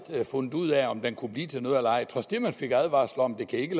havde fundet ud af om den kunne blive til noget eller ej man fik advarsler om at det ikke